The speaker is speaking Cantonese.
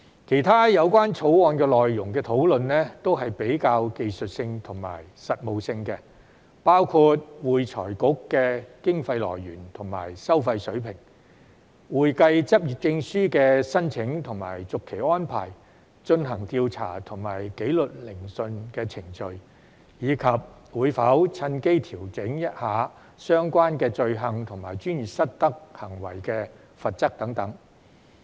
其他有關《條例草案》內容的討論均比較技術性和實務性，包括會財局的經費來源和收費水平、會計執業證書的申請和續期安排、進行調查和紀律聆訊的程序，以及會否趁機調整相關罪行和專業失德行為的罰則等。